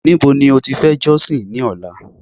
níbo ni o ti fe josin ni ọlá